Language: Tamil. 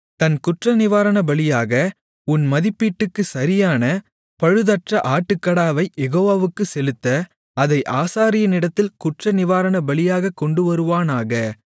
தன் குற்றநிவாரணபலியாக உன் மதிப்பீட்டுக்குச் சரியான பழுதற்ற ஆட்டுக்கடாவைக் யெகோவாவுக்குச் செலுத்த அதை ஆசாரியனிடத்தில் குற்றநிவாரணபலியாகக் கொண்டுவருவானாக